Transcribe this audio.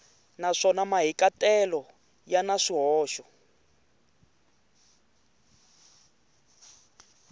naswona mahikahatelo ya na swihoxo